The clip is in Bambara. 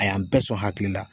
A y'an bɛɛ sɔn hakili la.